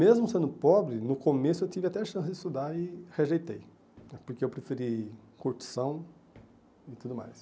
Mesmo sendo pobre, no começo eu tive até a chance de estudar e rejeitei, porque eu preferi curtição e tudo mais.